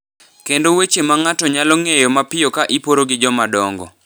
kendo weche ma ng’ato nyalo ng’eyo mapiyo ka iporo gi jomadongo,